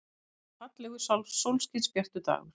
Þetta var fallegur, sólskinsbjartur dagur.